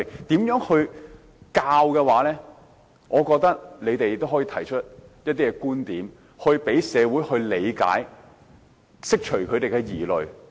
對於這方面的教育，我覺得他們可以提出一些觀點，讓社會理解，釋除大眾的疑慮。